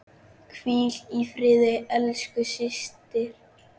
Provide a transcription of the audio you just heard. Hvíl í friði, elsku systir.